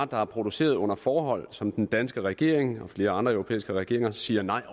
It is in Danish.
der er produceret under forhold som den danske regering og flere andre europæiske regeringer siger nej